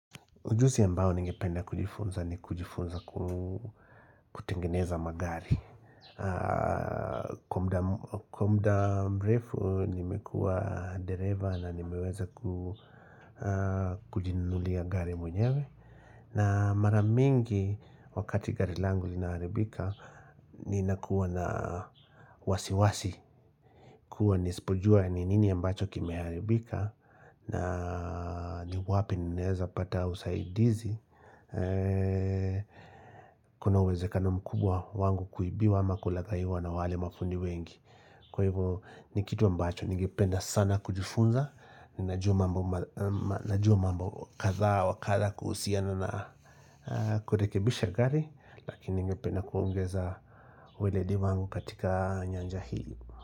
Ujusi ya ambao ningependa kujifunza ni kujifunza kutengeneza magari Kwa muda mrefu nimekua dereva na nimeweza kujinunulia gari mwenyewe na mara mingi wakati gari langu linaharibika Ninakuwa na wasiwasi kuwa nisipojua ni nini ambacho kimeharibika na ni wapi ninaweza pata usaidizi Kuna uwezekano mkubwa wangu kuibiwa ama kulagaiwa na wale mafundi wengi Kwa hivyo ni kitu ambacho ningependa sana kujifunza Ninajua mambo kathaa wa katha kuhusiana na kurekebisha gari lakini ningependa kuongeza weledi wangu katika nyanja hii.